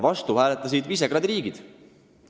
Vastu hääletasid Visegrádi riigid.